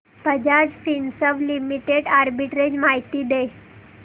Bajaj Finserv limited arbitrage माहिती दे